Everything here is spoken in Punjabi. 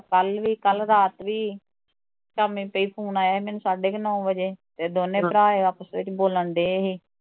ਕੱਲ ਵੀ ਕੱਲ ਰਾਤ ਵੀ ਸ਼ਾਮੀ ਪਈ ਮੈਨੂੰ ਫੋਨ ਆਇਆ ਸੀ ਸਾਢੇ ਕੁ ਨੌ ਵਜੇ, ਤੇ ਦੋਨੇ ਭਰਾ ਆਪਸ ਵਿੱਚ ਈ ਬੋਲਣ ਡਏ ਸੀ